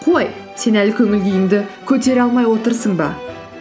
қой сен әлі көңіл күйіңді көтере алмай отырсың ба